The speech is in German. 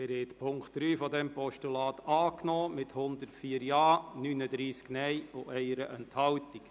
Sie haben den Punkt 3 des Postulats angenommen, mit 104 Ja-, 39 Nein-Stimmen und 1 Enthaltung.